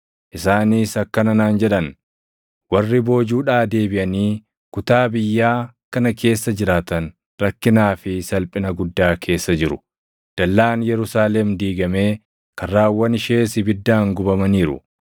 Isaanis akkana naan jedhan; “Warri boojuudhaa deebiʼanii kutaa biyyaa kana keessa jiraatan rakkinaa fi salphina guddaa keessa jiru. Dallaan Yerusaalem diigamee karraawwan ishees ibiddaan gubamaniiru.”